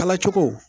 Kalacogo